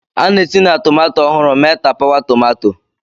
A na-esi na tomato ọhụrụ mee tapawa tomato.